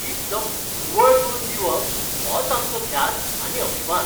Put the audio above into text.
एकदम निव्वळ करून दिवप होच आमचो ध्यास आनी अभिमान.